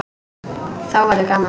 Þá verður gaman.